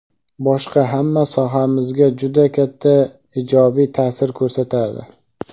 boshqa hamma sohamizga juda katta ijobiy ta’sir ko‘rsatadi.